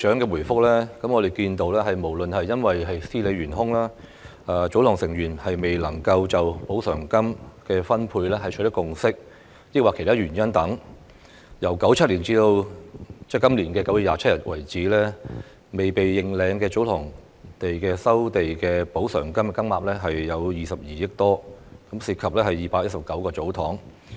長的答覆，我們看到不論是因為司理懸空、祖堂成員未能就補償金的分配取得共識，抑或其他原因等，由1997年直至今年9月27日為止，未被認領的祖堂地的收地補償金金額有22億元多，涉及219個祖堂。